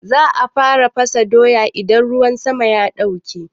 Za a fara fasa doya idan ruwan sama ya ɗauke.